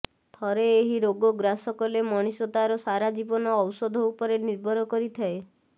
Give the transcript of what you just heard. ଥରେ ଏହି ରୋଗ ଗ୍ରାସ କଲେ ମଣିଷ ତାର ସାରା ଜୀବନ ଔଷଧ ଉପରେ ନିର୍ଭର କରିଥାଏ